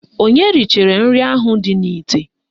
Onye richara nri ahụ dị n'ite?